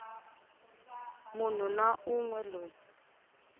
munhu na un we loyi